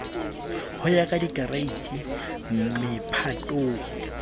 ho ya ka dikereiti mephatong